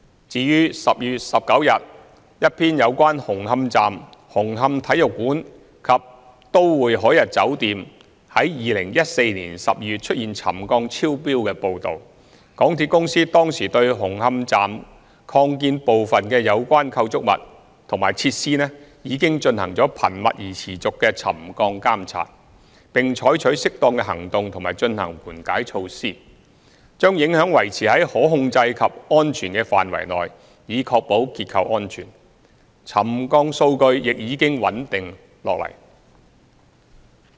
至於在10月19日一篇有關紅磡站、紅磡體育館及都會海逸酒店於2014年12月出現沉降超標的報道，港鐵公司當時對紅磡站擴建部分附近的相關構築物和設施進行頻密而持續的沉降監察，並採取適當的行動及進行緩解措施，把影響維持在可控制及安全的範圍內以確保結構安全，沉降數據已經穩定下來。